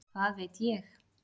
Hvað veit ég?